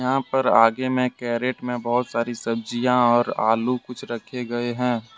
यहां पर आगे में कैरेट में बहुत सारी सब्जियां और आलू कुछ रखे गए हैं।